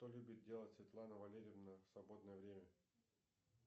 что любит делать светлана валерьевна в свободное время